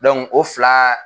o fila